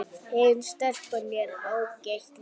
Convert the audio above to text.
Hin stelpan er ágæt líka